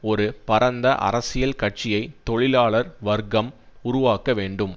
ஒரு பரந்த அரசியல் கட்சியை தொழிலாளர் வர்க்கம் உருவாக்க வேண்டும்